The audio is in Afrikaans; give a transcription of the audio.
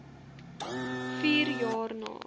vier jaar na